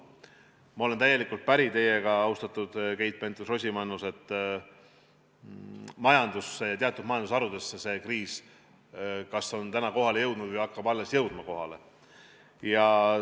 Ma olen täielikult päri teiega, austatud Keit Pentus-Rosimannus, et majandusse ja teatud majandusharudesse see kriis kas on täna kohale jõudnud või hakkab alles kohale jõudma.